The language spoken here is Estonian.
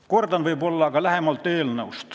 Natuke veel kord eelnõust lähemalt.